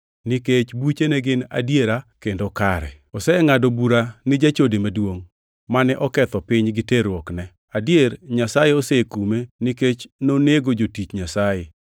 nikech buchene gin adiera kendo kare. Osengʼado bura ni jachode maduongʼ mane oketho piny gi terruokne. Adier Nyasaye osekume nikech nonego jotich Nyasaye.”